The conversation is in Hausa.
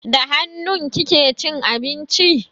Da hannu kike cin abinci?